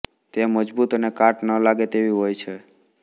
તે મજબૂત અને કાટ ન લાગે તેવી હોય છે